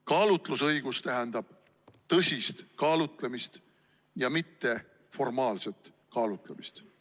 Kaalutlusõigus tähendab tõsist kaalutlemist, mitte formaalset kaalutlemist.